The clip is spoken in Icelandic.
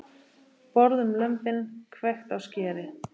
Borðum lömbin, hvekkt á skeri.